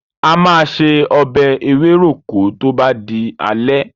A máa se ọbẹ̀ ewéròkó tó bá di alẹ́.